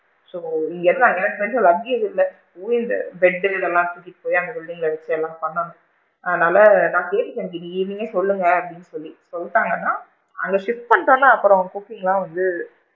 So இங்க இருந்து அங்கனா எனக்கு தெரிஞ்சு luggage இல்ல bed டு இதலாம் தூக்கிட்டு போயி அந்த building ல வச்சு இதலாம் பண்ணனும் அதனால நான் கேட்டுட்டேன் இன்னைக்கு evening கே சொல்லுங்கன்னு சொல்லி சொல்லிட்டங்கனா, அங்க shift பண்ணிட்டோம்னா அப்பறம் cooking லா வந்து,